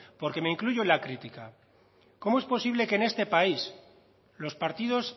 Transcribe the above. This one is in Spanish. porque me incluyo en la crítica cómo es posible que en este país los partidos